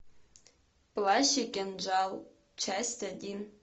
плащ и кинжал часть один